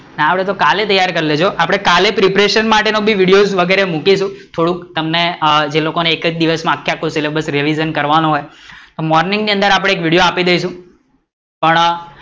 ના આવડે તો કાલે તૈયાર કરી લેજો, આપડે પ્રિપેરેશન માટેનો બી વિડિઓ વગેરે મુકીશુ થોડુંક જે તમને જેને કે એક દિવસ માં આખે આખું સિલેબસ રિવીસન કરવાનું હોય મોર્નિંગ ની અંદર આપડે એક વીડીઓ આપી દઇશુ.